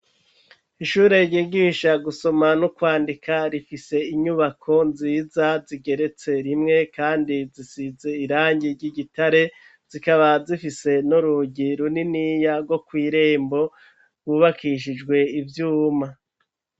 Ishure ryigisha gusoma no kwandika, rifise inyubako nziza zigeretse rimwe kandi zisize irangi ry'igitare, zikaba zifise n'urugi runiniya rwo kw'irembo rwubakishijwe ivyuma.